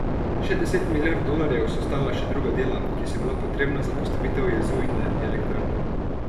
Še deset milijard dolarjev so stala še druga dela, ki so bila potrebna za postavitev jezu in elektrarne.